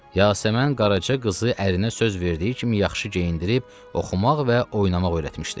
Yasəmən Qaraca qızı ərinə söz verdiyi kimi yaxşı geyindirib, oxumaq və oynamaq öyrətmişdi.